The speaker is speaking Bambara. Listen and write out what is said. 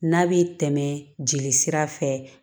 N'a bɛ tɛmɛ jeli sira fɛ